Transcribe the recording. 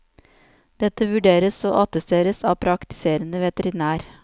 Dette vurderes og attesteres av praktiserende veterinær.